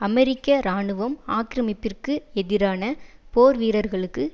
அமெரிக்க இராணுவம் ஆக்கிரமிப்பிற்கு எதிரான போர் வீரர்களுக்கு